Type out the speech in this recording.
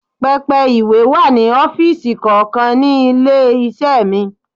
Pẹpẹ ìwé wà ní ọ́fíìsì kọ̀ọ̀kan ní ilé-iṣẹ́ mi.